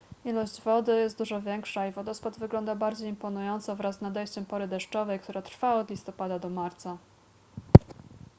ilość wody jest dużo większa i wodospad wygląda bardziej imponująco wraz z nadejściem pory deszczowej która trwa od listopada do marca